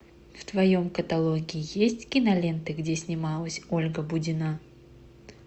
в твоем каталоге есть киноленты где снималась ольга будина